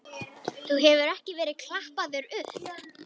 Þú hefur ekki verið klappaður upp?